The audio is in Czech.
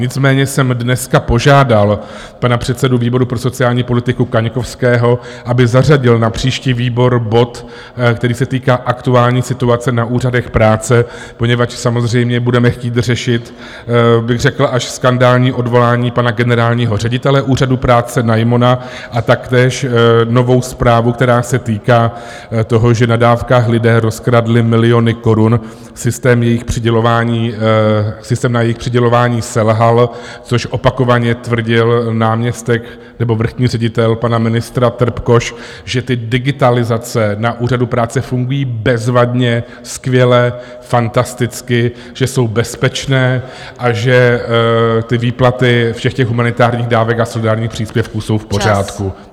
Nicméně jsem dneska požádal pana předsedu výboru pro sociální politiku Kaňkovského, aby zařadil na příští výbor bod, který se týká aktuální situace na úřadech práce, poněvadž samozřejmě budeme chtít řešit, bych řekl, až skandální odvolání pana generálního ředitele Úřadu práce Najmona a taktéž novou zprávu, která se týká toho, že na dávkách lidé rozkradli miliony korun, systém na jejich přidělování selhal, což opakovaně tvrdil náměstek nebo vrchní ředitel pana ministra Trpkoš, že ty digitalizace na Úřadu práce fungují bezvadně, skvěle, fantasticky, že jsou bezpečné a že ty výplaty všech těch humanitárních dávek a solidárních příspěvků jsou v pořádku.